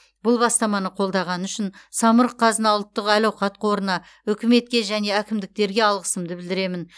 бұл бастаманы қолдағаны үшін самұрық қазына ұлттық әл ауқат қорына үкіметке және әкімдіктерге алғысымды білдіремін